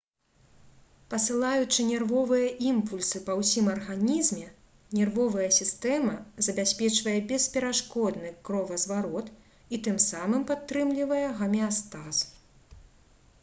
пасылаючы нервовыя імпульсы па ўсім арганізме нервовая сістэма забяспечвае бесперашкодны кровазварот і тым самым падтрымлівае гамеастаз